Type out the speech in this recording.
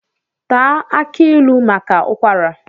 Taa aki ilu maka ụkwara